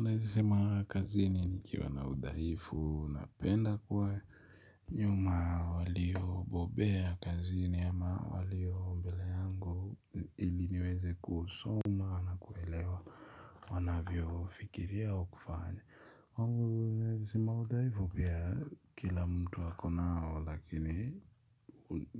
Naeza sema kazini nikiwa na udhaifu napenda kuwa nyuma waliobobea kazini ama walio mbele yangu ili niweze kusoma na kuelewa wanavyofikiria ao kufanya. Naeza sema udhaifu pia kila mtu ako nao lakini